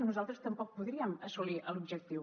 nosaltres tampoc podríem assolir l’objectiu